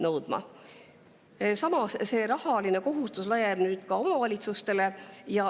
Samas laieneb see rahaline kohustus nüüd ka omavalitsustele.